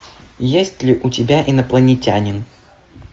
есть ли у тебя инопланетянин